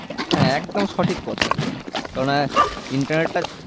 হ্যাঁ একদম সঠিক কথা একদম কেনোনা internet টা